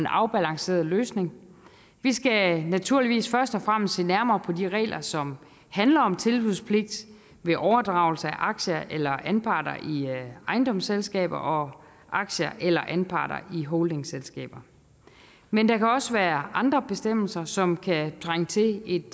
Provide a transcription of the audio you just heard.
afbalanceret løsning vi skal naturligvis først og fremmest se nærmere på de regler som handler om tilbudspligt ved overdragelse af aktier eller anparter i ejendomsselskaber og aktier eller anparter i holdingselskaber men der kan også være andre bestemmelser som kan trænge til et